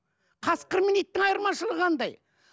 қасқыр мен иттің айырмашылығы қандай